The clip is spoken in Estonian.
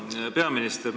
Hea peaminister!